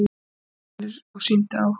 Allir voru hrifnir og sýndu áhuga.